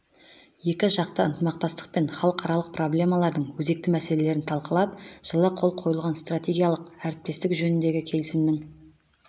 екіжақты ынтымақтастық пен халықаралық проблемалардың өзекті мәселелерін талқылап жылы қол қойылған стратегиялық әріптестік жөніндегі келісімнің